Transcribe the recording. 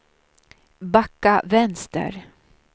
backa vänster